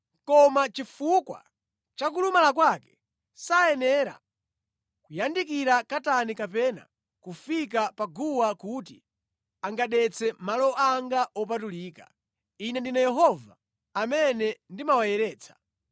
Koma chifukwa cha kulumala kwake, sayenera kuyandikira katani kapena kufika pa guwa kuti angadetse malo anga wopatulika. Ine ndine Yehova, amene ndimawayeretsa.’ ”